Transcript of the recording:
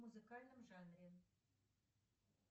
музыкальном жанре